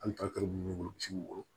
Hali misi wolo